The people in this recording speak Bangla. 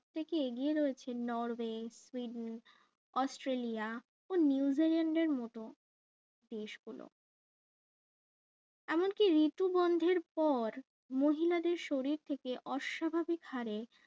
থেকে এগিয়ে রয়েছে নর ওয়ে অস্ট্রেলিয়া ও নিউজিল্যান্ডের মতো দেশগুলো এমনকি ঋতু বন্ধের পর মহিলাদের শরীর থেকে অস্বাভাবিক হারে